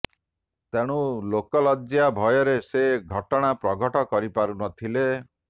ତେଣୁ ଲୋକ ଲଜ୍ଜା ଭୟରେ ସେ ଘଟଣା ପ୍ରଘଟ କରିପାରୁନଥିଲେ